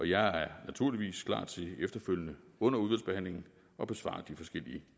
jeg er naturligvis klar til efterfølgende under udvalgsbehandlingen at besvare de forskellige